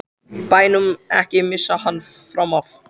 BÆNUM, EKKI MISSA HANN FRAM AF!